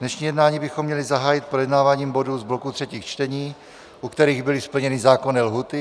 Dnešní jednání bychom měli zahájit projednáváním bodů z bloku třetích čtení, u kterých byly splněny zákonné lhůty.